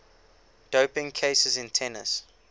doping cases in tennis